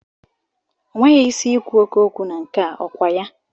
O nweghị isi i kwu oké okwu na nke a, ọ kwa ya?